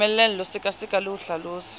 moelelo sekaseka le ho hlalosa